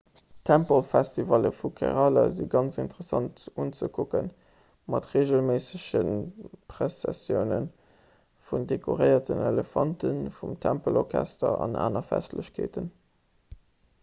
d'tempelfestivalle vu kerala si ganz interessant unzekucken mat reegelméissege pressessioune vun dekoréierten elefanten vum tempelorchester an aner festlechkeeten